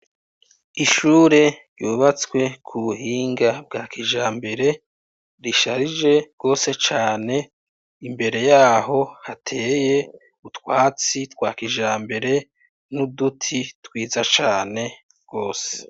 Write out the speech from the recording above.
Ishure yubatswe ku buhinga bwa kijambere risharije gose cane imbere yaho hateye ubutwatsi twa kijambere n'uduti twiza cane gose